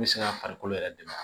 N bɛ se ka farikolo yɛrɛ dɛmɛ